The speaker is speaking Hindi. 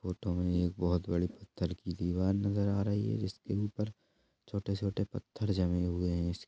इस फोटो में एक बहुत बड़ी पत्थर की दीवार नजर आ रही है जिसके ऊपर छोटे-छोटे पत्थर जमे हुए हैइस--